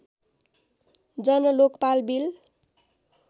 Jan Lokpal bill